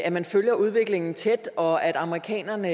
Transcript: at man følger udviklingen tæt og at amerikanerne